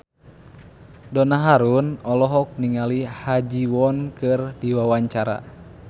Donna Harun olohok ningali Ha Ji Won keur diwawancara